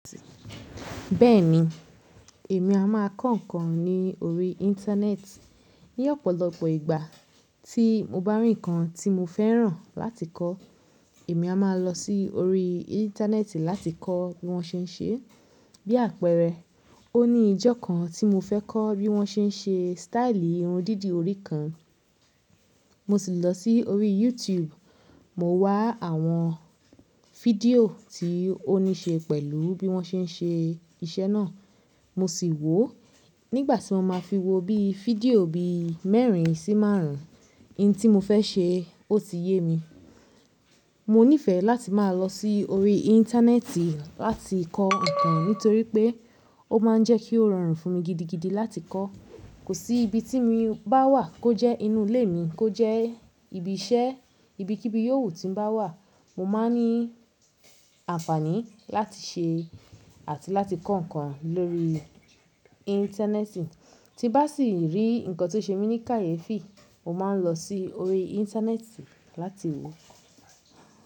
Bẹ́ẹ̀ni, èmi a máa kọ́ nǹkan ni orí Íńtánẹ́ẹ̀tì. Ni ọ̀pọ̀lọpọ̀ ìgbà tí mo bá rí nǹkan tí mo fẹ́ràn láti kọ́, èmi a máa lọ sí orí Íńtánẹ́ẹ̀tì láti kọ́ bí wọ́n ṣe ń ṣe é. Bí àpẹẹrẹ, ó ní ijọ́ kan tí mo fẹ́ kọ́ bí wọ́n ṣe ń ṣe sítáílì irun dídì orí kan. Mo sì lọ sí orí YouTube, mo wá àwọn fídíò tí ó ní ṣe pẹ̀lú bí wọ́n ṣe ń ṣe iṣẹ́ náà. Mo sì wọ̀ ó. Nígbà tí mo máa fi wo bí i fídíò bi mẹ́rin sí márùn ún, ohun tí mo fẹ́ ṣe ó ti yé mi. Mo nífẹ̀ẹ́ láti máa lọ sí orí Íńtánẹ́ẹ̀tì láti kọ́ nǹkan nítorí pé ó máa ń jẹ́ kí ó rọrùn fún mi gidigidi láti kọ́. Kò sí ibi tí mo bá wà, kó jẹ́ inú ilé mi, kó jẹ́ ibi iṣẹ́, ibikíbi yóòwu ti n bá wà, mo máa ní àǹfàní láti ṣe àti láti kọ́ nǹkan lórí Íńtánẹ́ẹ̀tì. Tí bá sì rí nǹkan tó ṣe mí ní kàyéfì, mo máa ń lọ sí orí Íńtánẹ́ẹ̀tì láti wọ̀ ọ́.